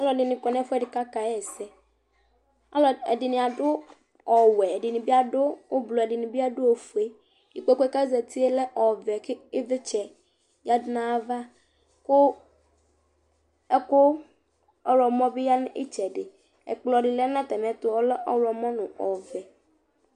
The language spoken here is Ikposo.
alʋɛdini kɔnʋ ɛƒʋɛdi kʋaka yɛsɛ, ɛdini adʋ ɔwɛ ɛdini adʋ ɔblɔ ɛdini bi adʋ ɔƒʋɛ, ikpɔkʋɛ kʋ azatiɛ lɛ ɔvɛ kʋ ivlitsɛ yadʋ nʋ ayiala kʋ ɛkʋ ɔwlɔmɔ bi yanʋ itsɛdi, ɛkplɔ di lɛnʋ atami ɛtʋ ɔlɛ ɔwlɔmɔ nʋ ɔvɛ